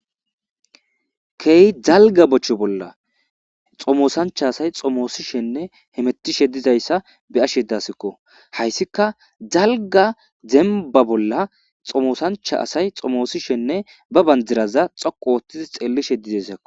Key dalga bocho bolla xomosancha asay xomoosishenne hemetishe dizayssa be7ashe daasikko hayssika zalga zemba bolla xomosancha asay xomoosishenne ba banjiraza xoqu ooththidi xeellishe dizassakko.